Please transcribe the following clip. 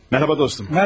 Mərhaba dostum.